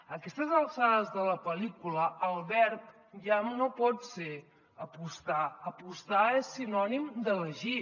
a aquestes alçades de la pel·lícula el verb ja no pot ser apostar apostar és sinònim d’ elegir